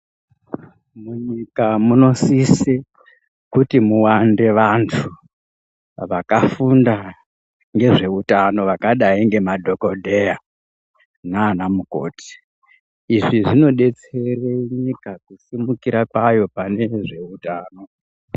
Munyika muno sise kuti mu wande vantu vaka funda nge zveutano vakadai nge madhokodheya nana mukoti izvi zvino detsera nyika kusumikira kwayo pane zveutano.